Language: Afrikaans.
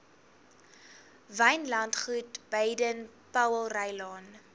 wynlandgoed baden powellrylaan